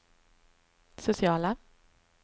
sociala